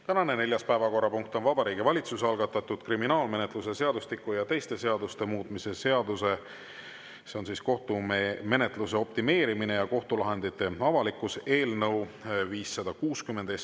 Tänane neljas päevakorrapunkt on Vabariigi Valitsuse algatatud kriminaalmenetluse seadustiku ja teiste seaduste muutmise seaduse eelnõu 560.